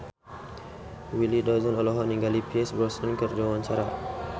Willy Dozan olohok ningali Pierce Brosnan keur diwawancara